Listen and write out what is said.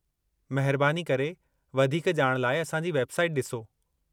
महिरबानी करे, वधीक ॼाण लाइ असांजी वेबसाइट डि॒सो।